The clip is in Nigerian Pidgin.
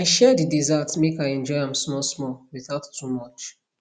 i share the dessert make i enjoy am smallsmall without too much